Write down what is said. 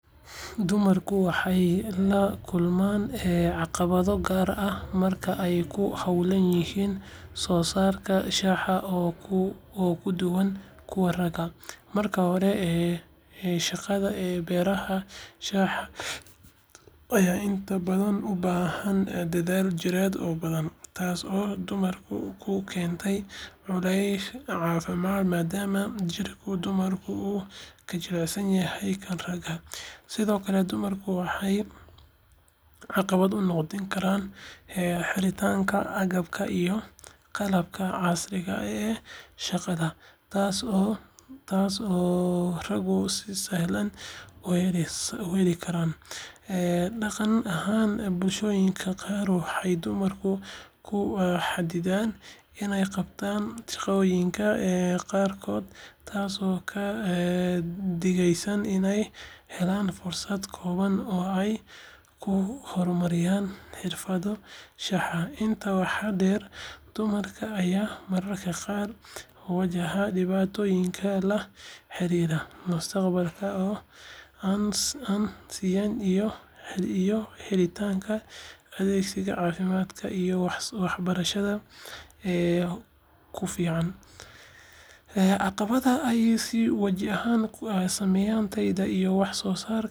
Dumarku waxay la kulmaan caqabado gaar ah marka ay ku hawlan yihiin soo saarista shaaha oo ka duwan kuwa ragga. Marka hore, shaqada beeraha shaaha ayaa inta badan u baahan dadaal jireed oo badan, taas oo dumarka ku keenta culays caafimaad maadaama jirka dumarku uu ka jilicsan yahay kan ragga. Sidoo kale, dumarka waxaa caqabad ku noqon karta helitaanka agabka iyo qalabka casriga ah ee shaqada, taas oo raggu si sahlan u heli karaan. Dhaqan ahaan, bulshooyinka qaar waxay dumarka ku xaddidaan inay qabtaan shaqooyinka qaarkood, taasoo ka dhigaysa inay helaan fursado kooban oo ay ku hormariyaan xirfaddooda shaaha. Intaa waxaa dheer, dumarka ayaa mararka qaar wajahaya dhibaatooyin la xiriira mushaarka oo aan sinnayn iyo helitaanka adeegyada caafimaadka iyo waxbarashada ee ku filan. Caqabadahan ayaa si wadajir ah u saameeya tayada iyo wax soo saarka shaaha dumarku ay soo saaraan, waxayna u baahan yihiin in si gaar ah loo taageero si loo xaqiijiyo sinnaanta iyo horumarka beeralayda shaaha ee dumarka.